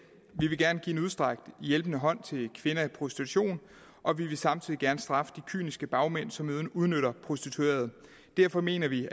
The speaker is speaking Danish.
vi vil gerne give en udstrakt hjælpende hånd til kvinder i prostitution og vi vil samtidig gerne straffe de kyniske bagmænd som udnytter prostituerede derfor mener vi